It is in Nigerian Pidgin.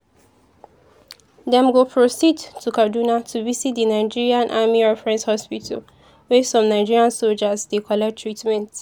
dem go proceed to kaduna to visit di nigerian army reference hospital wia some nigerian sojas dey collect treatment.